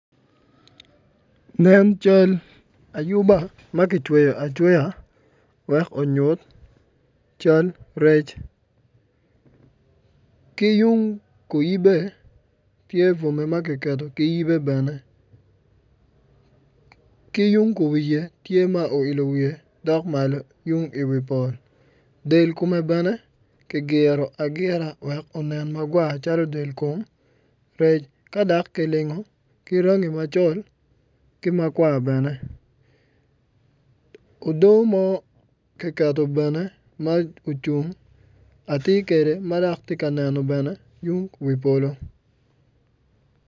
Nen cal ayuba ma gitweyo atweya wek onyut cal rec ki yung kunyimme tye bwome ma giketo ki yibe bene ki yung kuwiye tye ma oilo wiye dok malo yung iwi pol del kome bene ki giro agira wek onen ma gwa calo del kom rec ka dok kilingo ki rangi macol ki makwar bene udo mo ki keto bene ma ocung atir kede ma dok ti ka neno bene yung wi polo